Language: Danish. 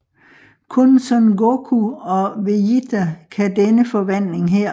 Kun Son Goku og Vejita kan denne forvandling her